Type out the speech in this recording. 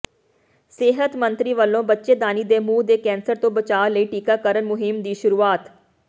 ਸਿਹਤ ਮੰਤਰੀ ਵਲੋਂ ਬੱਚੇਦਾਨੀ ਦੇ ਮੂੰਹ ਦੇ ਕੈਂਸਰ ਤੋਂ ਬਚਾਅ ਲਈ ਟੀਕਾਕਰਨ ਮੁਹਿੰਮ ਦੀ ਸ਼ੁਰੂਆਤ